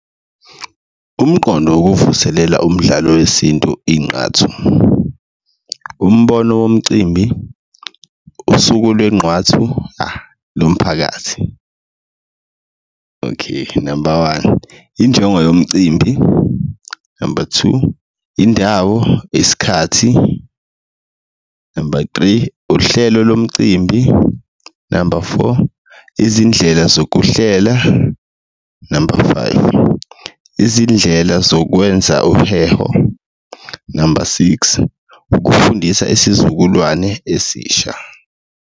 Umqondo wokuvuselela umdlalo wesintu inqathu, umbono womcimbi, usuku lwenqwathu, nophakathi. Okay, number one, injongo yomcimbi, number two, indawo, isikhathi, number three, uhlelo lomcimbi, number four, izindlela zokuhlela, number five, izindlela zokwenza uheho, number six, ukufundisa isizukulwane esisha.